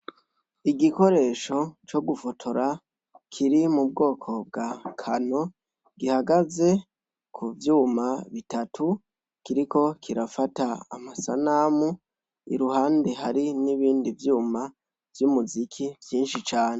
Igikoresho co gufotora kiri mu bwoko bwa kano gihagaze ku vyuma bitatu kiriko kirafata amasanamu iruhande hari n'ibindi vyuma vy'umuziki vyinshi cane.